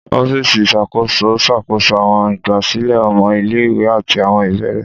Ọfíìsì iṣakoso n ṣakoso àwọn igbasilẹ ọmọ ile-iwe ati àwọn ibeere.